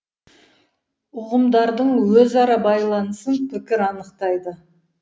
ұғымдардың өзара байланысын пікір анықтайды